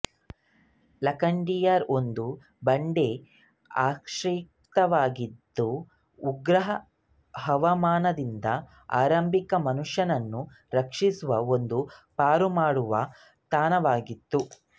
ಲಖುಡಿಯಾರ್ ಒಂದು ಬಂಡೆ ಆಶ್ರಯವಾಗಿದ್ದು ಉಗ್ರ ಹವಾಮಾನದಿಂದ ಆರಂಭಿಕ ಮನುಷ್ಯನನ್ನು ರಕ್ಷಿಸುವ ಒಂದು ಪಾರುಮಾಡುವ ತಾಣವಾಗಿತ್ತು